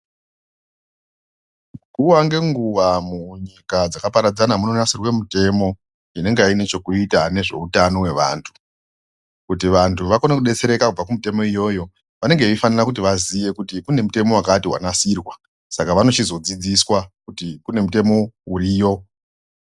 Nguwa ngenguwa munyika dzakaparadzana vanogadzira mitemo ine chekuita nezve hutano hwevantu kuti vangu vakone kudetsereka kubva kumutemo iyoyo vanenge veifana kuziya kuti kune mutemo wakati wanasirwa saka vanochizodzidziswa kuti kune mitemo yavamo.